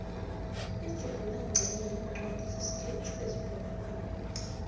inzubhula nqenye yencwadi zesikhethu eziphumaphambili